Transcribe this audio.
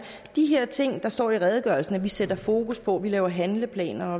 de her ting der står i redegørelsen at vi sætter fokus på og vi laver handleplaner